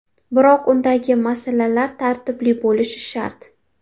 Biroq undagi masalalar tartibli bo‘lishi shart.